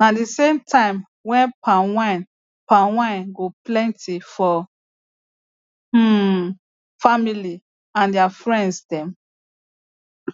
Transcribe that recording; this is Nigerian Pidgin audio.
na the same time wey palmwine palmwine go plenty for um family and their friends dem